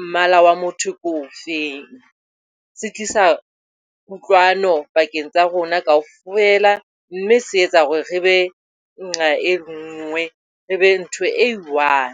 mmala wa motho ke o feng, se tlisa kutlwano pakeng tsa rona kaofela. Mme se etsa hore re be nqa e le nngwe, re be ntho e i-one.